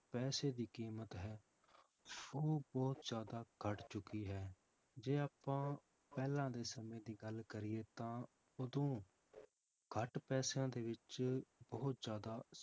ਪੈਸੇ ਦੀ ਕੀਮਤ ਹੈ ਉਹ ਬਹੁਤ ਜ਼ਿਆਦਾ ਘੱਟ ਚੁੱਕੀ ਹੈ, ਜੇ ਆਪਾਂ ਪਹਿਲਾਂ ਦੇ ਸਮੇਂ ਦੀ ਗੱਲ ਕਰੀਏ ਤਾਂ ਉਦੋਂ ਘੱਟ ਪੈਸਿਆਂ ਦੇ ਵਿੱਚ ਬਹੁਤ ਜ਼ਿਆਦਾ